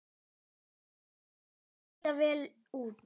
Því þeir líta vel út?